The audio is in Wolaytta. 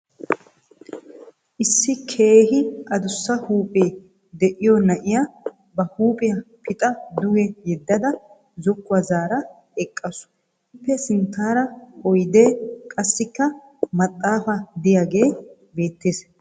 Issi keehi adussa huuphee de'iyo na'iya ba huuphiya pixa duge yeddada zokkuwa zaara eqqaasu. ippe sinttaara oyidee, qassikka maxxaafay diyagee beettes.